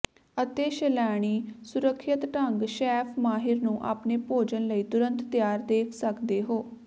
ਅਤੇ ਸੈਲਾਨੀ ਸੁਰੱਖਿਅਤ ਢੰਗ ਸ਼ੈੱਫ ਮਾਹਿਰ ਨੂੰ ਆਪਣੇ ਭੋਜਨ ਲਈ ਤੁਰੰਤ ਤਿਆਰ ਦੇਖ ਸਕਦੇ ਹੋ